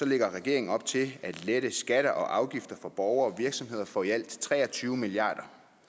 lægger regeringen op til at lette skatter og afgifter for borgere og virksomheder for i alt tre og tyve milliard